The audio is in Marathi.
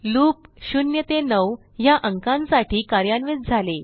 लूप 0 ते 9 ह्या अंकांसाठी कार्यान्वित झाले